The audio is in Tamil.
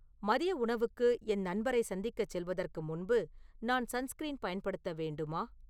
மதிய உணவுக்கு என் நண்பரை சந்திக்கச் செல்வதற்கு முன்பு நான் சன்ஸ்கிரீன் பயன்படுத்த வேண்டுமா